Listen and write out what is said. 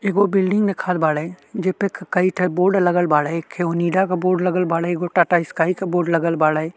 एगो बिल्डिंग देखत बाड़े जे पे का कइठे बोर्ड लगल बाड़े। केहू नीला के बोर्ड लगल बाड़े एगो टाटा स्काय के बोर्ड लगल बाड़े।